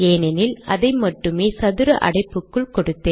ஏனெனில் அதை மட்டுமே சதுர அடைப்புக்குள் கொடுத்தேன்